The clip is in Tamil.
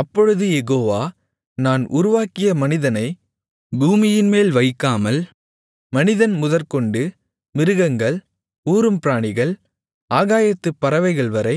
அப்பொழுது யெகோவா நான் உருவாக்கிய மனிதனை பூமியின்மேல் வைக்காமல் மனிதன் முதற்கொண்டு மிருகங்கள் ஊரும் பிராணிகள் ஆகாயத்துப் பறவைகள்வரை